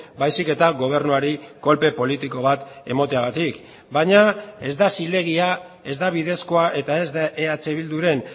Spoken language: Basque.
baizik eta gobernuari kolpe politiko bat emateagatik baina ez da zilegia ez da bidezkoa eta ez da eh bilduren